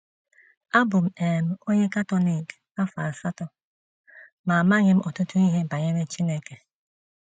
Abụ m um onye Katọlik afọ asatọ, ma amaghị m ọtụtụ ihe banyere Chineke.